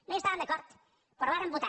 no hi estàvem d’acord però hi vàrem votar